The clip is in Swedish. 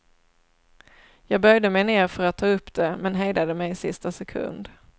Jag böjde mig ner för att ta upp det, men hejdade mig i sista sekund.